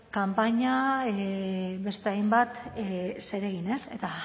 kanpaina beste hainbat zeregin ez eta